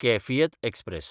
Kaifiyat express